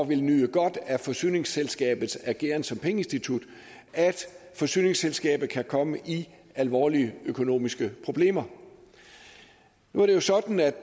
vil nyde godt af forsyningsselskabets ageren som pengeinstitut at forsyningsselskabet kan komme i alvorlige økonomiske problemer nu er det jo sådan at